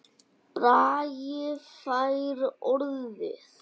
Bragi fær orðið